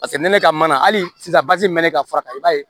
Paseke ne ka mana hali sisan basi bɛ mɛn ne ka fura kan i b'a ye